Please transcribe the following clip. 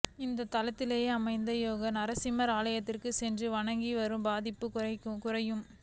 இத்தலத்திலேயே அமைந்துள்ள யோக நரசிம்மரின் ஆலயத்திற்கும் சென்று வணங்கிவர பாதிப்புகள் குறையும்